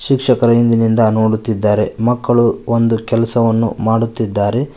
ಶಿಕ್ಷಕರ ಇಂದಿನಿಂದ ನೋಡುತ್ತಿದ್ದಾರೆ ಮಕ್ಕಳು ಒಂದು ಕೆಲಸವನ್ನು ಮಾಡುತ್ತಿದ್ದಾರೆ.